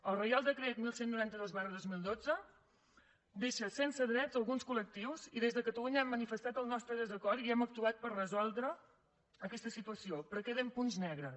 el reial decret onze noranta dos dos mil dotze deixa sense drets alguns col·lectius i des de catalunya hem manifestat el nostre desacord i hem actuat per resoldre aquesta situació però queden punts negres